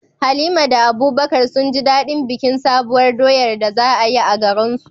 Halima da Abubakar sun ji daɗin bikin Sabuwar doyar da za a yi a garinsu.